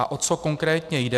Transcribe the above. A o co konkrétně jde?